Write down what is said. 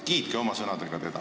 Kiitke teda oma sõnadega!